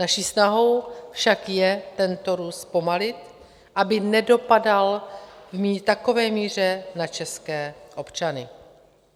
Naší snahou však je tento růst zpomalit, aby nedopadal v takové míře na české občany.